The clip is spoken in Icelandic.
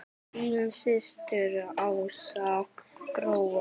Þín systir Ása Gróa.